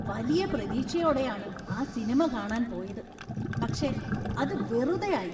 വലിയ പ്രതീക്ഷയോടെയാണ് ആ സിനിമ കാണാന്‍ പോയത്, പക്ഷേ അത് വെറുതെയായി.